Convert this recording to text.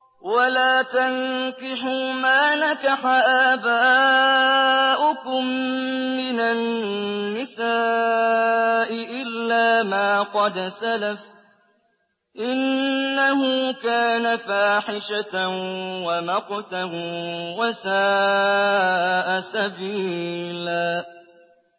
وَلَا تَنكِحُوا مَا نَكَحَ آبَاؤُكُم مِّنَ النِّسَاءِ إِلَّا مَا قَدْ سَلَفَ ۚ إِنَّهُ كَانَ فَاحِشَةً وَمَقْتًا وَسَاءَ سَبِيلًا